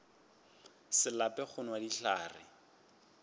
se lape go nwa dihlare